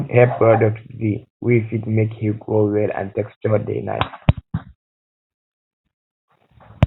good hair products de wey products de wey fit make hair grow well and texture de nice